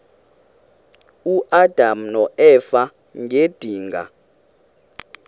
uadam noeva ngedinga